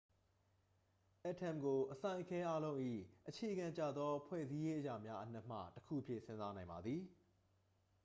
အက်တမ်ကို အစိုင်အခဲအားလုံး၏ အခြေခံကျသောဖွဲ့စည်းရေးအရာများအနက်မှတစ်ခုအဖြစ် စဉ်းစားနိုင်ပါသည်